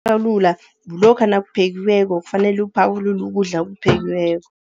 Ukuphakulula, kulokha nakuphekiweko kufanele uphakulule ukudla okuphekiweko.